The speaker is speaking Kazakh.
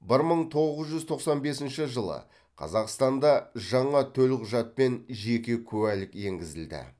бір мың тоғыз жүз тоқсан бесінші жылы қазақстанда жаңа төлқұжат пен жеке куәлік енгізілді